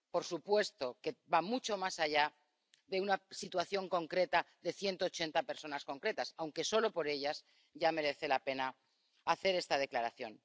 Por supuesto que va mucho más allá de una situación concreta de 180 personas concretas, aunque solo por ellas ya merece la pena hacer esta declaración.